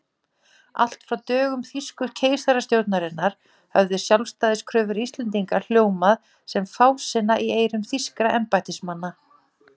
Allt frá dögum þýsku keisarastjórnarinnar höfðu sjálfstæðiskröfur Íslendinga hljómað sem fásinna í eyrum þýskra embættismanna.